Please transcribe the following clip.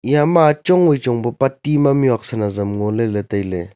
eya ma chong wai chong pe pa tima mihuat san azam ngo ley ley tai ley.